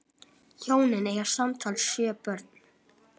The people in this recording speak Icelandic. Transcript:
Hjónin eiga samtals sjö börn.